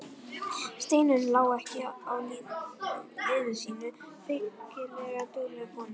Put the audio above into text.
Steinunn lá ekki á liði sínu, feykilega dugleg kona.